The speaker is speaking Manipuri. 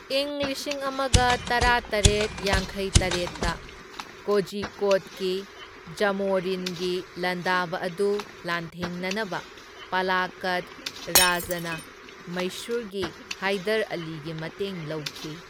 ꯏꯪ ꯂꯤꯁꯤꯡ ꯑꯃꯒ ꯇꯔꯥꯇꯔꯦꯠ ꯌꯥꯡꯈꯩꯇꯔꯦꯠꯇ ꯀꯣꯖꯤꯀꯣꯗꯀꯤ ꯖꯥꯃꯣꯔꯤꯟꯒꯤ ꯂꯥꯟꯗꯥꯕ ꯑꯗꯨ ꯂꯥꯟꯊꯦꯡꯅꯅꯕ ꯄꯥꯂꯀꯗ ꯔꯥꯖꯥꯅ ꯃꯩꯁꯨꯔꯒꯤ ꯍꯥꯏꯗꯔ ꯑꯂꯤꯒꯤ ꯃꯇꯦꯡ ꯂꯧꯈꯤ꯫